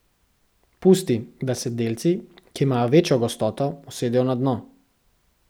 Pusti, da se delci, ki imajo večjo gostoto, usedejo na dno.